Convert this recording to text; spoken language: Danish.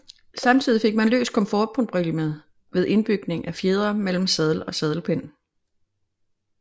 Samtidig fik man løst komfortproblemet ved indbygning af fjedre mellem sadel og sadelpind